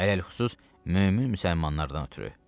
Ələlxüsus mömin müsəlmanlardan ötrü.